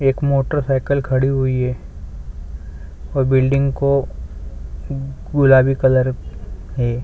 एक मोटरसाइकिल खड़ी हुई है और बिल्डिंग को गुलाबी कलर की है ।